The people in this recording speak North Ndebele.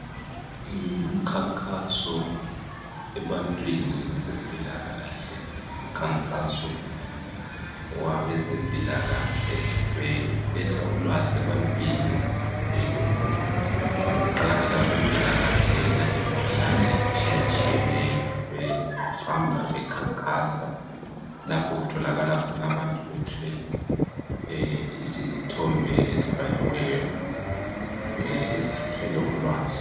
Ngumkhankaso ebantwini ngezempilakahle. Umkhankaso wabezempilakahle. Beletha ulwazi ebantwini, ngokuqakatheka kwempilakahle. Nangemikhuhlane etshiyatshiyeneyo. Behamba bekhankasa. Lapho okutholakala khona abantu. Bethwele izithombe ezitbhaliweyo. Ezithwele ulwazi,